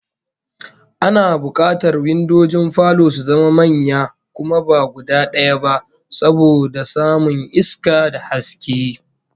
Ana bukatar windojin falo su zama manya kuma ba guda daya ba, saboda samun iska da haske